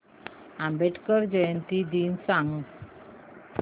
आंबेडकर जयंती दिन सांग